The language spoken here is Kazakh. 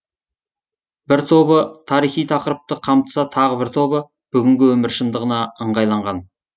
бір тобы тарихи тақырыпты қамтыса тағы бір тобы бүгінгі өмір шындығына ыңғайланған